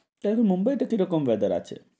তবে মুম্বাইতে কি রকম ব্যাপার আছে,